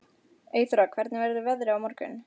Eyþóra, hvernig verður veðrið á morgun?